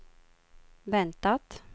väntat